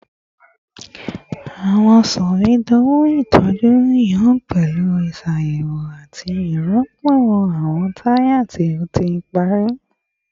Awọn sọwedowo itọju yoo pẹlu iṣayẹwo ati rirọpo awọn taya ti o ti pari